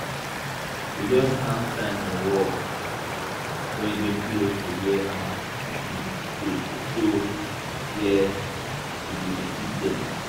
we just hang sign for wall wey dey close to where our chicken dey to show where we go dey feed dem